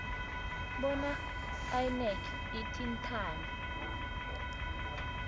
bona inac ithintane